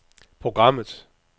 programmet